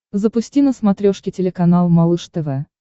запусти на смотрешке телеканал малыш тв